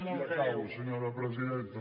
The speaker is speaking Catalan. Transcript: i acabo senyora presidenta